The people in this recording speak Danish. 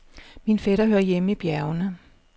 Min fætter hører hjemme i bjergene.